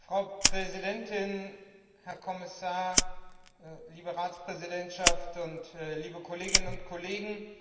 Frau Präsidentin, Herr Kommissar, liebe Ratspräsidentschaft, liebe Kolleginnen und Kollegen!